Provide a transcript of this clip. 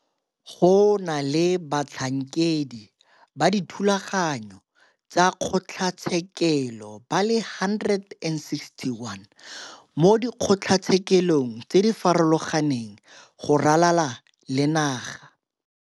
Go na le batlhankedi ba dithulaganyo tsa kgotlatshekelo ba le 161 mo dikgotlatshekelong tse di farologaneng go ralala le naga.